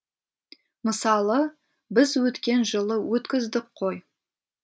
мысалы біз өткен жылы өткіздік қой